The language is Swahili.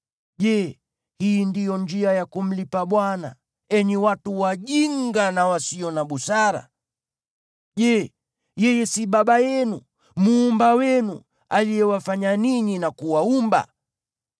Je, hii ndiyo njia ya kumlipa Bwana , enyi watu wajinga na wasio na busara? Je, yeye siye Baba yenu, Muumba wenu, aliyewafanya ninyi na kuwaumba?